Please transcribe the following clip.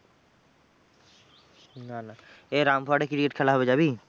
না না এ রামপুরহাটে cricket খেলা হবে যাবি?